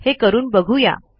हे करून बघू या